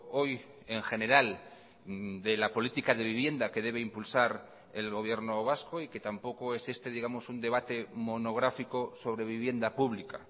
hoy en general de la política de vivienda que debe impulsar el gobierno vasco y que tampoco es este digamos un debate monográfico sobre vivienda pública